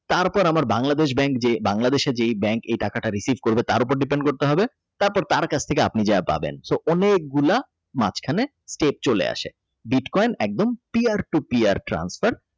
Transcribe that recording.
তারপর আমার Bangladeshbank যে Bangladesh যে bank Receive করবে তার উপর Depend করতে হবে তারপরে আপনি দিয়া পাবেন তো অনেকগুলা মাঝখানে চলে আসে বিটকয়েন একদম Clear to clear transfer